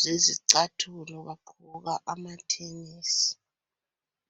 zesicathulo bagqoka amathenesi.